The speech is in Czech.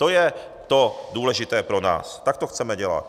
To je to důležité pro nás, tak to chceme dělat.